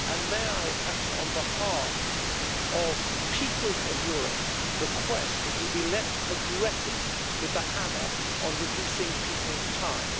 May I perhaps, on behalf of the peoples of Europe, request that you be less aggressive with the hammer on reducing people's time?